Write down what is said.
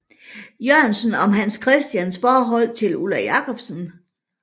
Jørgensen om Hans Christians forhold til Ulla Jacobsen